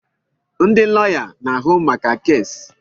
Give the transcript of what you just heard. Ndị lọya na-ahụ maka keesi.